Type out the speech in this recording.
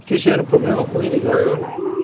Vocês tiveram problema com eles, algum?